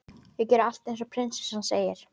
Ég geri allt eins og prinsessan segir.